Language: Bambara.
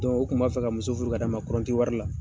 u tun b'a fɛ ka muso furu ka d'a ma kɔrɔnti wari la.